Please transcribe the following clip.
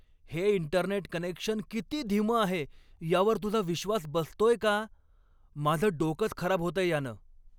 हे internet connection किती धीमं आहे यावर तुझा विश्वास बसतोय का? माझं डोकंच खराब होतंय यानं!